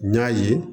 N y'a ye